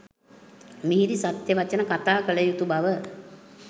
මිහිරි සත්‍ය වචන කතා කළ යුතු බව